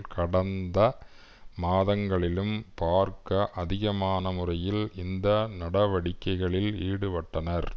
கடந்த மாதங்களிலும் பார்க்க அதிகமான முறையில் இந்த நடவடிக்கைகளில் ஈடுபட்டனர்